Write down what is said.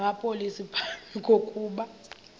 namapolisa phambi kokuba